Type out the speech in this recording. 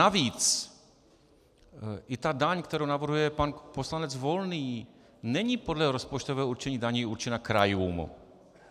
Navíc i ta daň, kterou navrhuje pan poslanec Volný, není podle rozpočtového určení daní určena krajům.